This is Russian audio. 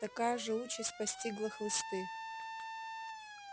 такая же участь постигла хлысты